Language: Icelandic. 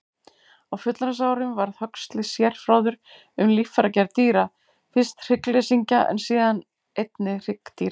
Á fullorðinsárum varð Huxley sérfróður um líffæragerð dýra, fyrst hryggleysingja en síðar einnig hryggdýra.